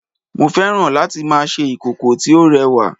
mo fẹ́ràn láti ma ṣe ìkòkò tí ó rẹwa